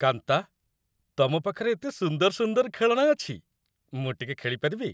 କାନ୍ତା, ତମ ପାଖରେ ଏତେ ସୁନ୍ଦର ସୁନ୍ଦର ଖେଳଣା ଅଛି । ମୁଁ ଟିକେ ଖେଳିପାରିବି?